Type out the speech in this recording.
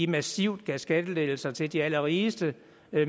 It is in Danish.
massivt gav skattelettelser til de allerrigeste